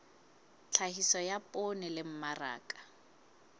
tlhahiso ya poone le mmaraka